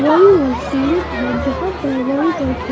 वॉलीवॉल stadium है जहाँ पर वॉलीबॉल खेल --